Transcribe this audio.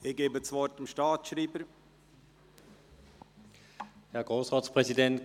Ich gebe dem Staatsschreiber das Wort.